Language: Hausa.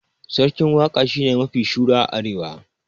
Sarkin waka shine mafi shura a arewa